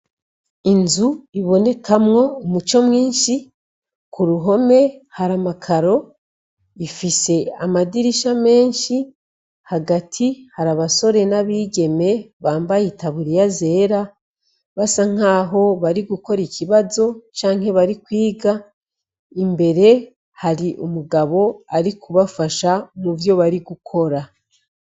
Inzu ibonekamwo umuco mwinshi ku ruhome, hari amakaro ifise amadirisha menshi, hagati hari abasore n'abigeme bambaye itaburiya zera, basa nk'aho bari gukora ikibazo canke bari kwiga, imbere hari umugabo ari kubafasha mu vyo bari gukora.